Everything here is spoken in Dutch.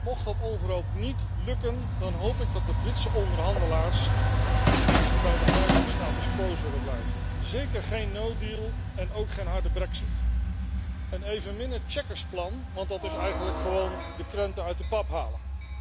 Mocht dat onverhoopt niet lukken dan hoop ik dat de Britse onderhandelaars dicht bij de huidige status quo zullen blijven, zeker geen no deal en ook geen harde brexit, en evenmin het checkers plan want dat is eigenlijk gewoon de krenten uit de pap halen.